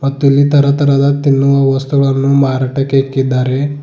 ಮತ್ತಿಲ್ಲಿ ತರತರದ ತಿನ್ನುವ ವಸ್ತುಗಳನ್ನು ಮಾರಾಟಕ್ಕೆ ಇಕ್ಕಿದ್ದಾರೆ.